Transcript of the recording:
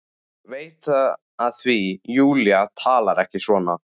Veit það því Júlía talar ekki svona.